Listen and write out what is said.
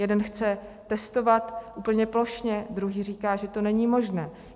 Jeden chce testovat úplně plošně, druhý říká, že to není možné.